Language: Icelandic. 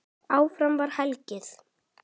Áfram var hlegið.